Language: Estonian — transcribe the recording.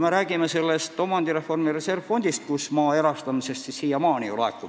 Me räägime omandireformi reservfondist, kuhu maa erastamisest laekub ju raha siiamaani.